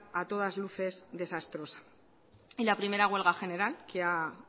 a todas luces desastrosa y la primera huelga general que ha